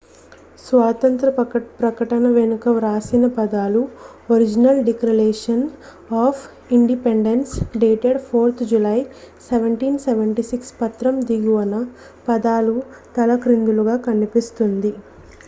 "స్వాతంత్య్ర ప్రకటన వెనుక వ్రాసిన పదాలు "original declaration of independence dated 4th July 1776"". పత్రం దిగువన పదాలు తలక్రిందులుగా కనిపిస్తుంది.